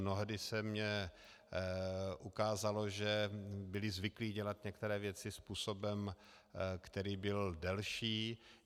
Mnohdy se mi ukázalo, že byli zvyklí dělat některé věci způsobem, který byl delší.